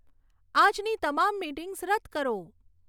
આજની તમામ મિટિંગ્સ રદ કરો